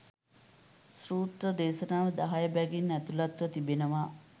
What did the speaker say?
සූත්‍ර දේශනා දහය බැගින් ඇතුළත්ව තිබෙනවා.